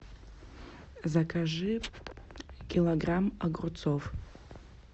закажи килограмм огурцов